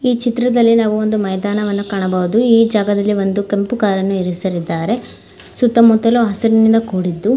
ಈ ಚಿತ್ರದಲ್ಲಿ ನಾವು ಒಂದು ಮೈದಾನವನ್ನು ಕಾಣಬಹುದು ಈ ಜಾಗದಲ್ಲಿ ಒಂದು ಕೆಂಪು ಕಾರನ್ನು ಇರಿಸಲಿದ್ದಾರೆ. ಸುತ್ತುಮುತ್ತಲೂ ಹಸಿರಿನಿಂದ ಕೂಡಿದ್ದು --